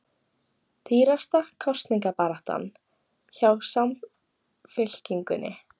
Dýrasta kosningabaráttan hjá Samfylkingunni